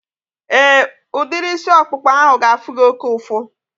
Éè, udiri isi ọkpụkpa ahu ga-afụ gị oké ụfụ